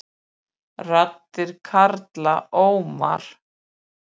Raddir karla óma